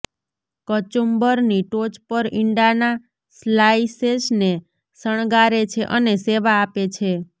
કચુંબરની ટોચ પર ઇંડાના સ્લાઇસેસને શણગારે છે અને સેવા આપે છે